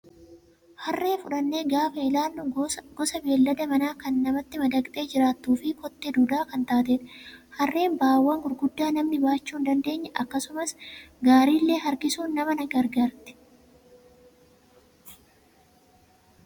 Harree fudhannee gaafa ilaallu gosa beellada manaa kan namatti madaqxee jiraatuu fi kotte duudaa kan taatedha. Harreen ba'aawwan gurguddaa namni baachuu hin dandeenye akkasumas gaarii illee harkisuun nama ni gargaarti.